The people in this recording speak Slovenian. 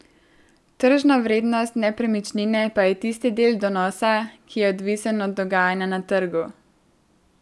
Tržna vrednost nepremičnine pa je tisti del donosa, ki je odvisen od dogajanja na trgu.